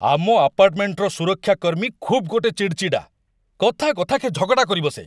ଆମ ଆପାର୍ଟମେଣ୍ଟର ସୁରକ୍ଷାକର୍ମୀ ଖୁବ୍ ଗୋଟେ ଚିଡ଼ଚିଡ଼ା, କଥା କଥାକେ ଝଗଡ଼ା କରିବସେ।